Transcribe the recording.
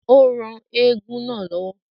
Ó ran eégún náà lọ́wọ́